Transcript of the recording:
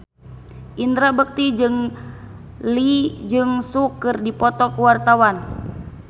Indra Bekti jeung Lee Jeong Suk keur dipoto ku wartawan